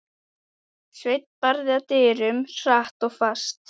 Sveinn barði að dyrum, hratt og fast.